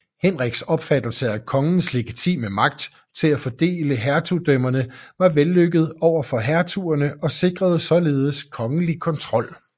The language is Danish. Henriks opfattelse af kongens legitime magt til at fordele hertugdømmerne var vellykket over for hertugerne og sikrede således kongelig kontrol